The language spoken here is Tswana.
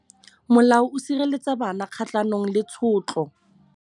Molao o sireletsa bana kgatlhanong le tshotlo.